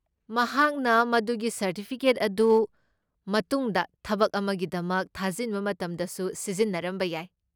ꯃꯍꯥꯛꯅ ꯃꯗꯨꯒꯤ ꯁꯔꯇꯤꯐꯤꯀꯦꯠ ꯑꯗꯨ ꯃꯇꯨꯡꯗ ꯊꯕꯛ ꯑꯃꯒꯤꯗꯃꯛ ꯊꯥꯖꯤꯟꯕ ꯃꯇꯝꯗꯁꯨ ꯁꯤꯖꯤꯟꯅꯔꯝꯕ ꯌꯥꯏ꯫